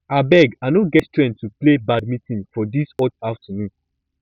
abeg i no get strength to play badminton for dis hot afternoon